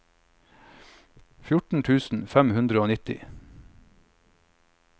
fjorten tusen fem hundre og nitti